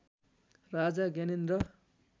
Raja Gyanendra